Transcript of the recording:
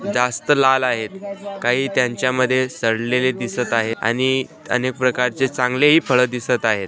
जास्त लाल आहेत त्यांच्यामध्ये सडलेले दिसत आहे आणि अनेक प्रकारचे चांगले फळ दिसत आहे.